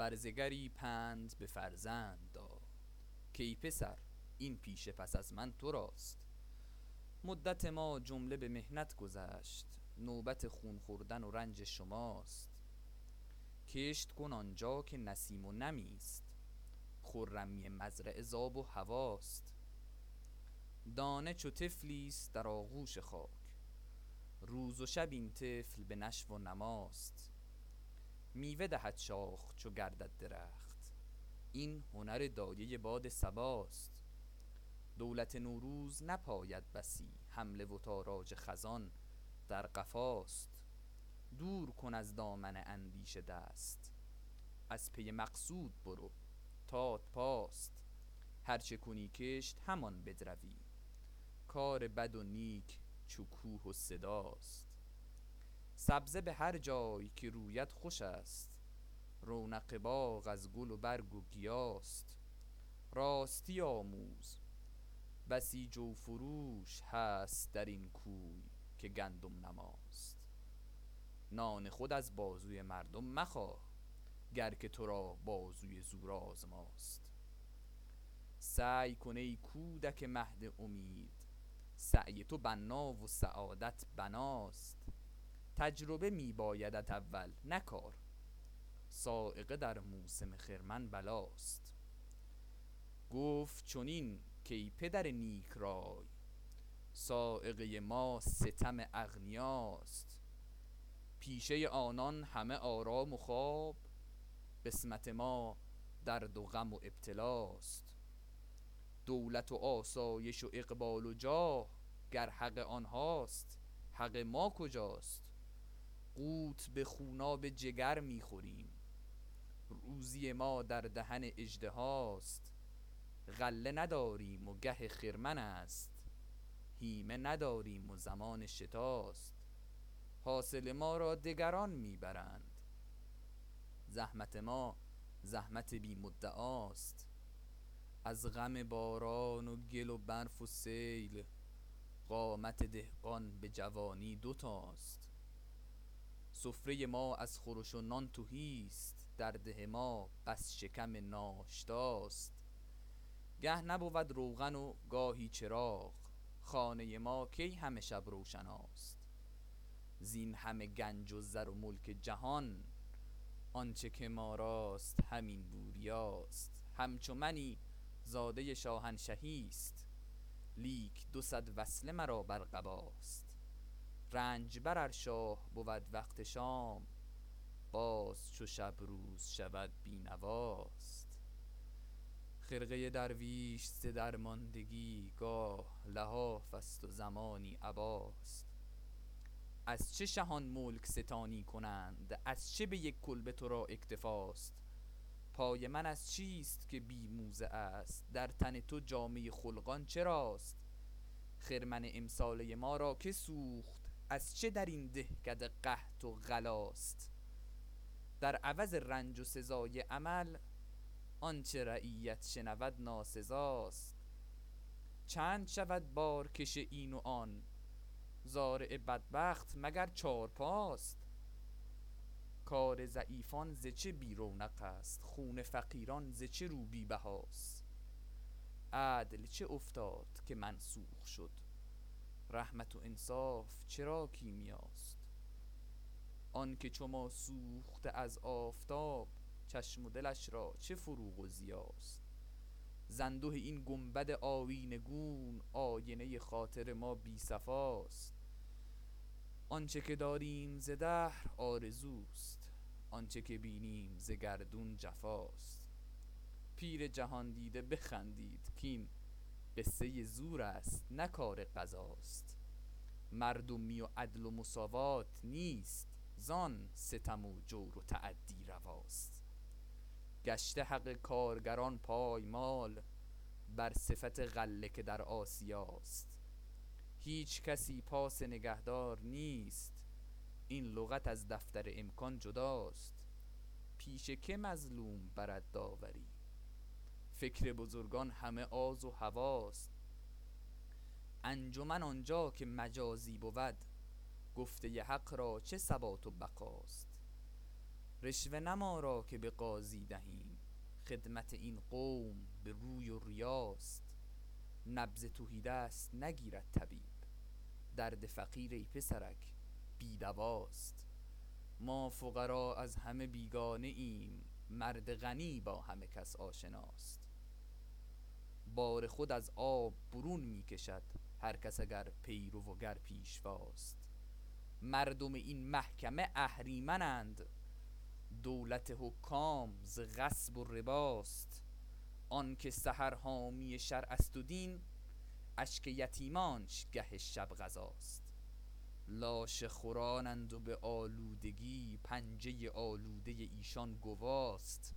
برزگری پند به فرزند داد کای پسر این پیشه پس از من تراست مدت ما جمله به محنت گذشت نوبت خون خوردن و رنج شماست کشت کن آنجا که نسیم و نمی است خرمی مزرعه ز آب و هواست دانه چو طفلی است در آغوش خاک روز و شب این طفل به نشو و نماست میوه دهد شاخ چو گردد درخت این هنر دایه باد صباست دولت نوروز نپاید بسی حمله و تاراج خزان در قفاست دور کن از دامن اندیشه دست از پی مقصود برو تات پاست هر چه کنی کشت همان بدروی کار بد و نیک چو کوه و صداست سبزه به هر جای که روید خوش است رونق باغ از گل و برگ و گیاست راستی آموز بسی جو فروش هست در این کوی که گندم نماست نان خود از بازوی مردم مخواه گر که تو را بازوی زور آزماست سعی کن ای کودک مهد امید سعی تو بنا و سعادت بناست تجربه میبایدت اول نه کار صاعقه در موسم خرمن بلاست گفت چنین کای پدر نیک رای صاعقه ما ستم اغنیاست پیشه آنان همه آرام و خواب قسمت ما درد و غم و ابتلاست دولت و آسایش و اقبال و جاه گر حق آنهاست حق ما کجاست قوت بخوناب جگر میخوریم روزی ما در دهن اژدهاست غله نداریم و گه خرمن است هیمه نداریم و زمان شتاست حاصل ما را دگران می برند زحمت ما زحمت بی مدعاست از غم باران و گل و برف و سیل قامت دهقان بجوانی دوتاست سفره ما از خورش و نان تهی است در ده ما بس شکم ناشتاست گه نبود روغن و گاهی چراغ خانه ما کی همه شب روشناست زین همه گنج و زر و ملک جهان آنچه که ما راست همین بوریاست همچو منی زاده شاهنشهی است لیک دو صد وصله مرا بر قباست رنجبر ار شاه بود وقت شام باز چو شب روز شود بی نواست خرقه درویش ز درماندگی گاه لحاف است و زمانی عباست از چه شهان ملک ستانی کنند از چه بیک کلبه ترا اکتفاست پای من از چیست که بی موزه است در تن تو جامه خلقان چراست خرمن امساله ما را که سوخت از چه درین دهکده قحط و غلاست در عوض رنج و سزای عمل آنچه رعیت شنود ناسزاست چند شود بارکش این و آن زارع بدبخت مگر چارپاست کار ضعیفان ز چه بی رونق است خون فقیران ز چه رو بی بهاست عدل چه افتاد که منسوخ شد رحمت و انصاف چرا کیمیاست آنکه چو ما سوخته از آفتاب چشم و دلش را چه فروغ و ضیاست ز انده این گنبد آیینه گون آینه خاطر ما بی صفاست آنچه که داریم ز دهر آرزوست آنچه که بینیم ز گردون جفاست پیر جهاندیده بخندید کاین قصه زور است نه کار قضاست مردمی و عدل و مساوات نیست زان ستم و جور و تعدی رواست گشت حق کارگران پایمال بر صفت غله که در آسیاست هیچکسی پاس نگهدار نیست این لغت از دفتر امکان جداست پیش که مظلوم برد داوری فکر بزرگان همه آز و هوی ست انجمن آنجا که مجازی بود گفته حق را چه ثبات و بقاست رشوه نه ما را که بقاضی دهیم خدمت این قوم به روی و ریاست نبض تهی دست نگیرد طبیب درد فقیر ای پسرک بی دواست ما فقرا از همه بیگانه ایم مرد غنی با همه کس آشناست بار خود از آب برون میکشد هر کس اگر پیرو و گر پیشواست مردم این محکمه اهریمنند دولت حکام ز غصب و رباست آنکه سحر حامی شرع است و دین اشک یتیمانش گه شب غذاست لاشه خورانند و به آلودگی پنجه آلوده ایشان گواست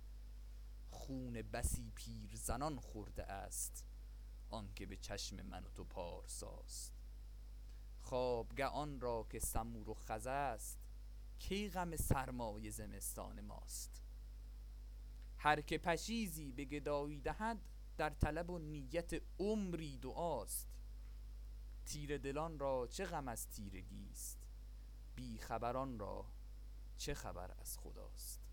خون بسی پیرزنان خورده است آنکه بچشم من و تو پارساست خوابگه آنرا که سمور و خز است کی غم سرمای زمستان ماست هر که پشیزی بگدایی دهد در طلب و نیت عمری دعاست تیره دلان را چه غم از تیرگیست بی خبران را چه خبر از خداست